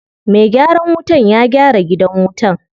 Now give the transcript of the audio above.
Me gyaran wutan ya gyara gidan wutan.